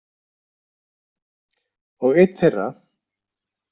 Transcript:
Og einn þeirra.